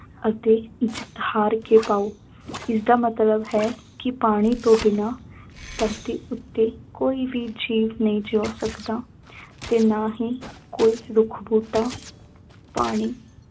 ਅਤੇ ਜਿੱਤ ਹਾਰ ਕੇ ਪਾਉ ਇਸਦਾ ਮਤਲਬ ਹੈ ਕਿ ਪਾਣੀ ਤੋਂ ਬਿਨਾਂ ਧਰਤੀ ਉੱਤੇ ਕੋਈ ਜੀਵ ਨਹੀਂ ਜਿਉਂ ਸਕਦਾ ਤੇ ਨਾ ਹੀ ਕੋਈ ਰੁੱਖ ਬੂਟਾ ਪਾਣੀ